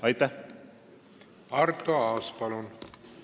Arto Aas, palun!